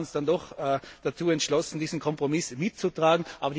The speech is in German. Wir haben uns dann doch dazu entschlossen, diesen Kompromiss mitzutragen.